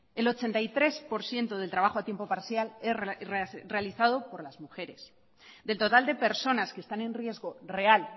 el ochenta y tres por ciento del trabajo a tiempo parcial es realizado por las mujeres del total de personas que están en riesgo real